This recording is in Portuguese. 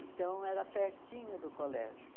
Então, era pertinho do colégio.